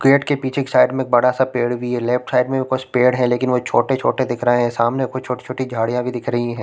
Gate के पीछे के साइड में बड़ा -सा पेड़ भी है लेफ्ट साइड में भी कुछ पेड़ है लेकिन छोटे-छोटे दिख रहे है सामने कुछ-कुछ छोटी-छोटी झाड़ियाँ भी दिख रही हैं ।